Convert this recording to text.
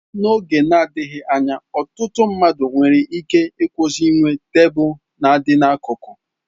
N'oge na-adịghị anya, ọtụtụ mmadụ nwere ike ịkwụsị inwe tebụl nadị n'akụkụ.